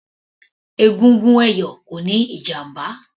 Egungun ẹ̀yọ̀ kò níí ìjàmbá